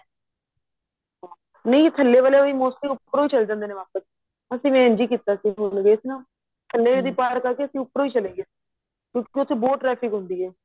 ਨਹੀਂ ਥੱਲੇ ਵਾਲੇ ਵੀ mostly ਉੱਪਰੋ ਚੱਲੇ ਜਾਂਦੇ ਨੇ ਵਾਪਿਸ ਅਸੀਂ ਵੀ ਇੰਝ ਹੀ ਕੀਤਾ ਸੀ ਹੁਣ ਗਏ ਸੀ ਨਾ ਅਸੀਂ ਉੱਪਰੋ ਹੀ ਚੱਲੇ ਗਏ ਸੀ ਕਿਉਂਕਿ ਉਥੇ ਬਹੁਤ traffic ਹੁੰਦੀ ਏ